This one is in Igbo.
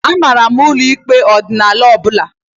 I maara ụlọ ikpe ọdịnala ọbụla?